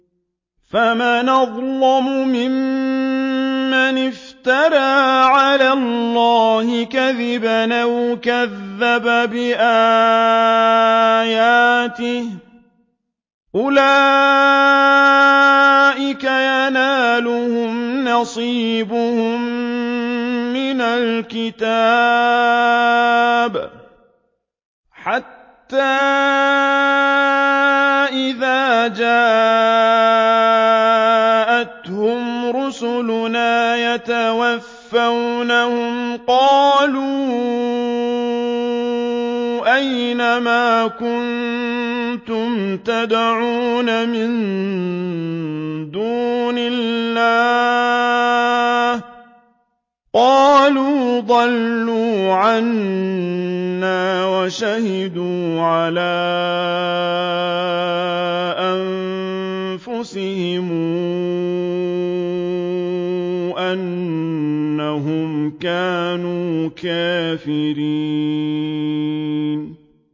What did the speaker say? فَمَنْ أَظْلَمُ مِمَّنِ افْتَرَىٰ عَلَى اللَّهِ كَذِبًا أَوْ كَذَّبَ بِآيَاتِهِ ۚ أُولَٰئِكَ يَنَالُهُمْ نَصِيبُهُم مِّنَ الْكِتَابِ ۖ حَتَّىٰ إِذَا جَاءَتْهُمْ رُسُلُنَا يَتَوَفَّوْنَهُمْ قَالُوا أَيْنَ مَا كُنتُمْ تَدْعُونَ مِن دُونِ اللَّهِ ۖ قَالُوا ضَلُّوا عَنَّا وَشَهِدُوا عَلَىٰ أَنفُسِهِمْ أَنَّهُمْ كَانُوا كَافِرِينَ